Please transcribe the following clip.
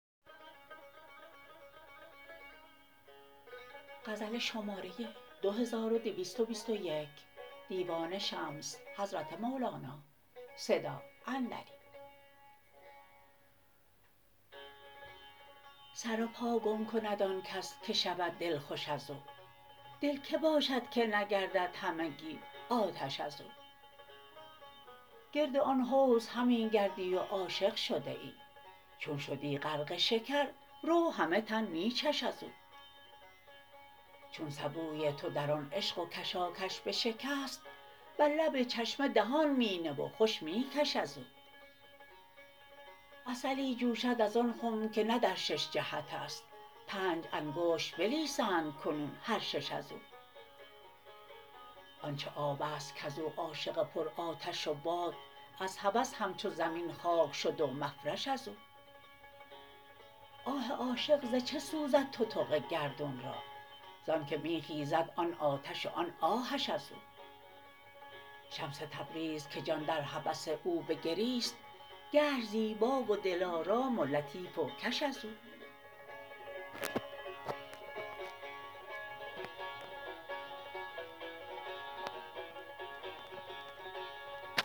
سر و پا گم کند آن کس که شود دلخوش از او دل کی باشد که نگردد همگی آتش از او گرد آن حوض همی گردی و عاشق شده ای چون شدی غرق شکر رو همه تن می چش از او چون سبوی تو در آن عشق و کشاکش بشکست بر لب چشمه دهان می نه و خوش می کش از او عسلی جوشد از آن خم که نه در شش جهت است پنج انگشت بلیسند کنون هر شش از او آن چه آب است کز او عاشق پرآتش و باد از هوس همچو زمین خاک شد و مفرش از او آه عاشق ز چه سوزد تتق گردون را ز آنک می خیزد آن آتش و آن آهش از او شمس تبریز که جان در هوس او بگریست گشت زیبا و دلارام و لطیف و کش از او